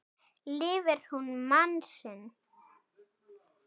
Lifir hún mann sinn.